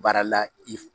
Baara la i f